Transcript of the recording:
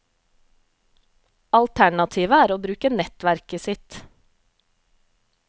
Alternativet er å bruke nettverket sitt.